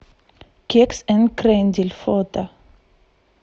кекс энд крендель фото